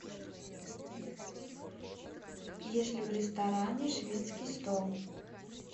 есть ли в ресторане шведский стол